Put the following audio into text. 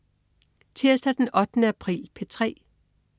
Tirsdag den 8. april - P3: